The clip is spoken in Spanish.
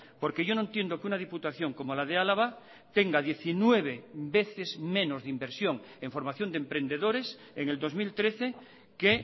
porque yo no entiendo que una diputación como la de álava tenga diecinueve veces menos de inversión en formación de emprendedores en el dos mil trece que